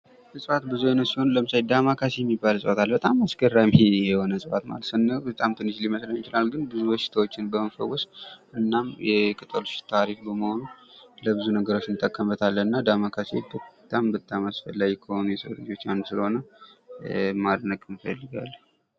እፅዋት ብዙ አይነት ሲሆን ዳማካሴ የሚባል እፅዋት አለ። በጣም አስገራሚ የሆነ የእፅዋት ማለት ነው ። ስናየው በጣም ትንሽ ሊመስለን ይችላል። ነገር ግን ብዙ በሽታዎችን በመፈወስ ና የቅጠሉ ሽታ አሪፍ በመሆኑ ለብዙ ነገሮች እንጠቀምበታለን። እና ዳማካሴ በጣም በጣም አስፈላጊ ከሆኑ ለሰው ልጆች አንዱ ስለሆነ ማድነቅ እንፈልጋለን ።